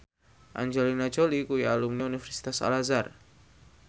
Angelina Jolie kuwi alumni Universitas Al Azhar